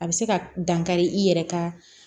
A bɛ se ka dankari i yɛrɛ ka